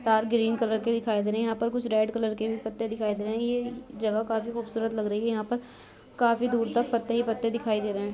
तार green colour के दिखाई दे रहे हैं यहाँ पर कुछ रेड कलर के भी पत्ते दिखाई दे रहे हैं ये जगह काफी खूबसूरत लग रही हैं यहाँ पर काफी दूर तक पत्ते ही पत्ते दिखाई दे रहे--